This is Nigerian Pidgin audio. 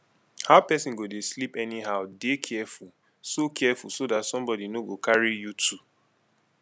how person go dey sleep anyhow dey careful so careful so dat somebody no go carry you tu